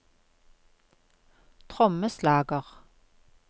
trommeslager